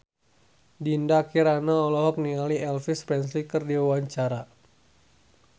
Dinda Kirana olohok ningali Elvis Presley keur diwawancara